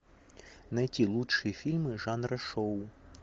найти лучшие фильмы жанра шоу